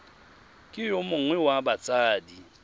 ke yo mongwe wa batsadi